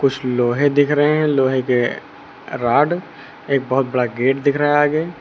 कुछ लोहे दिख रहे हैं लोहे के राड एक बहुत बड़ा गेट दिख रहा है आगे।